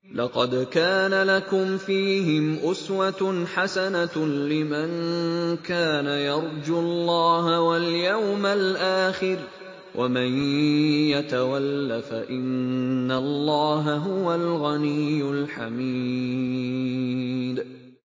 لَقَدْ كَانَ لَكُمْ فِيهِمْ أُسْوَةٌ حَسَنَةٌ لِّمَن كَانَ يَرْجُو اللَّهَ وَالْيَوْمَ الْآخِرَ ۚ وَمَن يَتَوَلَّ فَإِنَّ اللَّهَ هُوَ الْغَنِيُّ الْحَمِيدُ